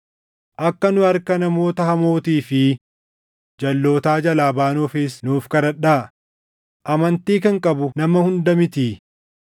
Akka nu harka namoota hamootii fi jalʼootaa jalaa baanuufis nuuf kadhadhaa; amantii kan qabu nama hunda mitii.